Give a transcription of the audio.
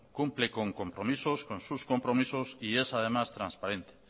cumple con compromisos con sus compromisos y es además transparente